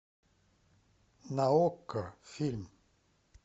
на окко фильм